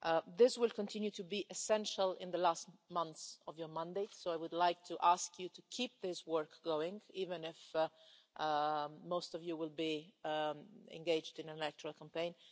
This will continue to be essential in the last months of your mandate, so I would like to ask you to keep this work going, even if most of you will be engaged in the electoral campaign.